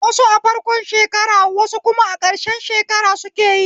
Wasu a farko shekara wasu kuma a ƙarshe shekara sukeyi